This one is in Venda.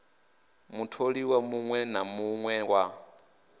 mutholiwa muṋwe na muṋwe wa